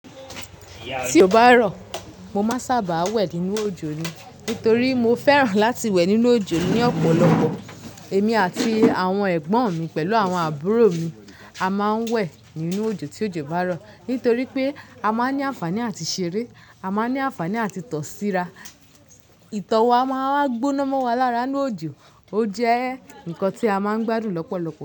Tí o bá rọ̀, mo máa sábà wẹ̀ nínú òjò ni. Nítorí mo fẹ́ràn láti wẹ̀ nínú òjò ní ọ̀pọ̀lọpọ̀. Èmi àti àwọn ẹ̀gbọ́n mi pẹ̀lú àwọn àbúrò mi a máa ń wẹ̀ nínú òjò tí òjò bá rọ̀. Nítorí pé a máa ń ní àǹfààní àti ṣeré, a máa ń ní àǹfààní àti tọ̀síra. Itọ́ wa máa ń gbóná mọ́ wa lára inú òjò, ó jẹ́ nǹkan tí a máa ń gbádùn lọ́pọ̀lọpọ̀.